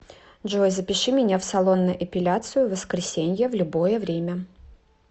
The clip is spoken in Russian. джой запиши меня в салон на эпиляцию в воскресенье в любое время